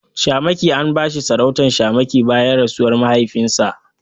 Shamaki An bashi sarautar shamaki bayan rasuwar mahaifinsa.